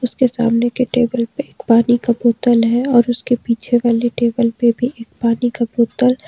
उसके सामने के टेबल पे एक पानी का बोतल है और उसके पीछे वाले टेबल पे भी एक पानी का बोतल --